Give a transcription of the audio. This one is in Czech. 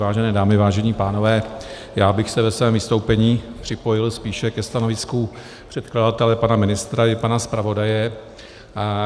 Vážené dámy, vážení pánové, já bych se ve svém vystoupení připojil spíše ke stanovisku předkladatele pana ministra i pana zpravodaje.